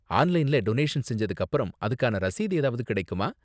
ஆன்லைன்ல டொனேஷன் செஞ்சதுக்கு அப்பறம் அதுக்கான ரசீது ஏதாவது கிடைக்குமா?